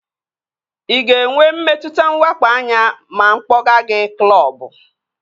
Ị ga-enwe mmetụta nwakpo anya ma mụ kpọga gị klọbu?